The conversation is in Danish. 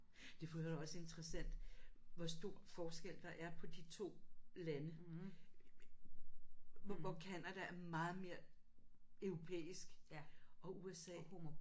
Det er for øvrigt også interessant hvor stor forskel der er på de 2 lande. Hvor Canada er meget mere europæisk og USA